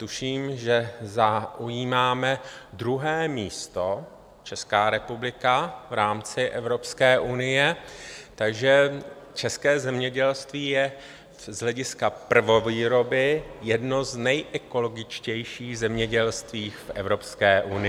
Tuším, že zaujímáme druhé místo, Česká republika, v rámci Evropské unie, takže české zemědělství je z hlediska prvovýroby jedno z nejekologičtějších zemědělství v Evropské unie.